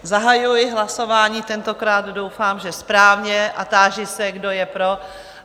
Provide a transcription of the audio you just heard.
Zahajuji hlasování, tentokrát doufám, že správně, a táži se, kdo je pro?